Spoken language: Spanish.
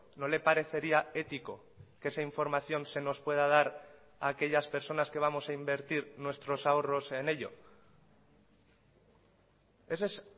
no le parecería ético que esa información se nos pueda dar a aquellas personas que vamos a invertir nuestros ahorros en ello ese es